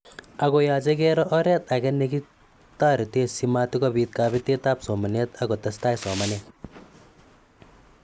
Ako ya che kero oret ake nikitaretee si matikopita kabetet ab somanet akkotestai somanet.